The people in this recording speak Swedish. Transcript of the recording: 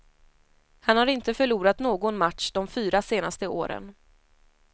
Han har inte förlorat någon match de fyra senaste åren.